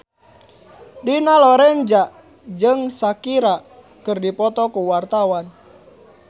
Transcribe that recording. Dina Lorenza jeung Shakira keur dipoto ku wartawan